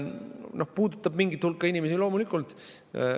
See puudutab mingit hulka inimesi, loomulikult.